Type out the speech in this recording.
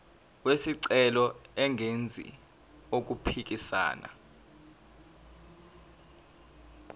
wesicelo engenzi okuphikisana